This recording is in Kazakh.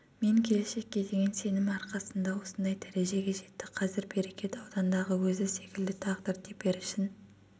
мен келешекке деген сенімі арқасында осындай дәрежеге жетті қазір берекет аудандағы өзі секілді тағдыр теперішін